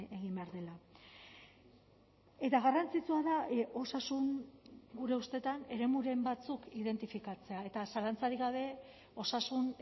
egin behar dela eta garrantzitsua da osasun gure ustetan eremuren batzuk identifikatzea eta zalantzarik gabe osasun